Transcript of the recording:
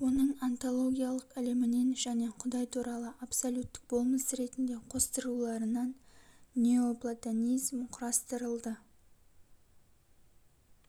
оның онтологиялық ілімінен және құдай туралы абсолюттік болмыс ретінде қостыруларынан неоплатонизм құрастырылды